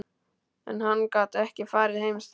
En hann gat ekki farið heim strax.